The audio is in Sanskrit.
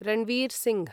रणवीर् सिंह्